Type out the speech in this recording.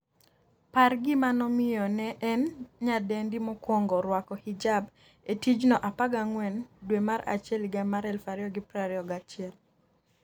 par gima nomiyo ne en nyadendi mokwongo rwako hijab e tijno14 dwe mar achiel higa mar 2021